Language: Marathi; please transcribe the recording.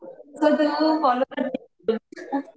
खूप फॉलो करते